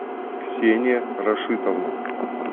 ксения рашитовна